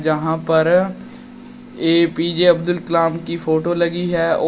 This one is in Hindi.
यहां पर A P J Abdul Kalam की फोटो लगी है और--